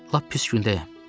Lap pis gündəyəm.